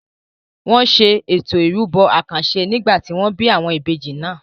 Wọn ṣe Ètò ìrúbọ àkànṣe nígbà tí wọ́n bí àwọn ìbejì náà.